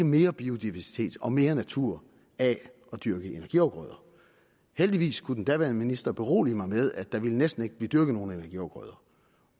mere biodiversitet og mere natur af at dyrke energiafgrøder heldigvis kunne den daværende minister berolige mig med at der næsten ikke ville blive dyrket nogen energiafgrøder